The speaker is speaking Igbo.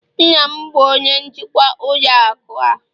nna m bụ onye njikwa ụlọ akụ a